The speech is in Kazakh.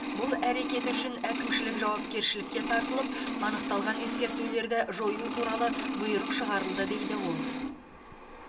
бұл әрекеті үшін әкімшілік жауапкершілікке тартылып анықталған ескертулерді жою туралы бұйрық шығарылды дейді ол